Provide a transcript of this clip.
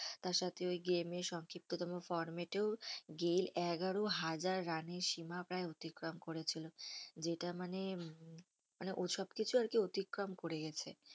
তার সাথে ওই game ই সংক্ষিপ্ত তম format এও গেইল এগারো হাজার রানের সীমা প্রায় অতিক্রম করেছিল সেটা মানে হম মানে ওই সব কিছু আর কি অতিক্রম করে গেছে